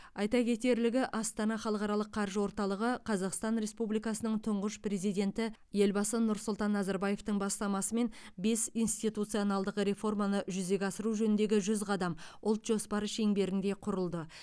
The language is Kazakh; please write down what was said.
айта кетерлігі астана халықаралық қаржы орталығы қазақстан республикасының тұңғыш президенті елбасы нұрсұлтан назарбаевтың бастамасымен бес институционалдық реформаны жүзеге асыру жөніндегі жүз қадам ұлт жоспары шеңберінде құрылды